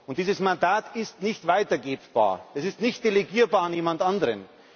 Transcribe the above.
Und dieses Mandat ist nicht weitergebbar, es ist nicht delegierbar an jemand anderen.